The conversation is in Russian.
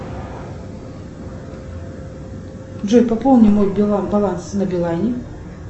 джой пополни мой баланс на билайне